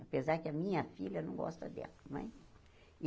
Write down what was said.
Apesar que a minha filha não gosta dela mas.